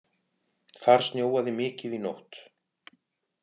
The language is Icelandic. Þar snjóaði mikið í nótt